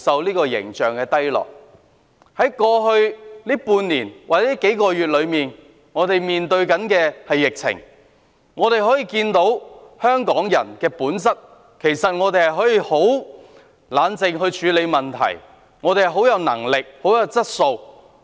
過去半年或數個月，我們面對疫情，大家可以看到香港人的本質，其實我們可以很冷靜地處理問題，有能力、有質素。